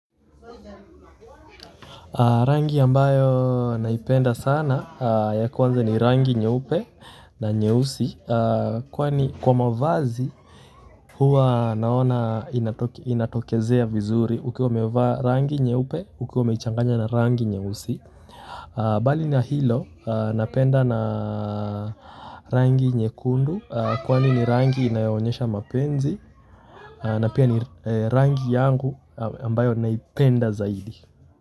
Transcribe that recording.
Rangi ambayo naipenda sana ya kwanza ni rangi nyeupe na nyeusi kwani kwa mavazi huwa naona inatokezea vizuri ukiwa umevaa rangi nyeupe ukiwa umechanganya na rangi nyeusi mbali na hilo napenda na rangi nyekundu kwani ni rangi inayoonyesha mapenzi na pia ni rangi yangu ambayo naipenda zaidi.